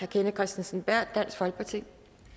kenneth kristensen berth dansk folkeparti